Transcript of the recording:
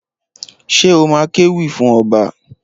Ṣé o má kéwì fún ọba?